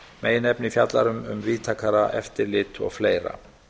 meginefni fjallar um víðtækara eftirlit og fleira